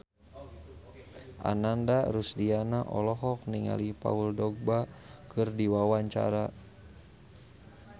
Ananda Rusdiana olohok ningali Paul Dogba keur diwawancara